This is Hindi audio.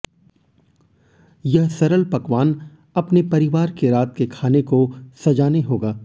यह सरल पकवान अपने परिवार के रात के खाने को सजाने होगा